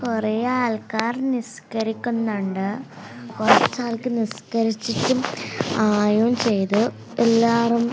കുറെ ആൾക്കാർ നിസ്ക്കരിക്കുന്നുണ്ട് കുറച്ച് ആൾക്കാർ നിസ്ക്കരിച്ചിട്ട് ചെയ്തു എല്ലാർ--